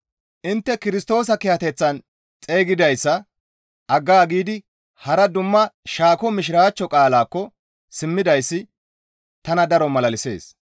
Intte Kirstoosa kiyateththan xeygidayssa aggaagidi hara dumma shaako Mishiraachcho qaalaakko simmidayssi tana daro malalisees.